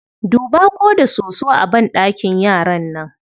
Duba ko da soso a banɗakin yaran nan.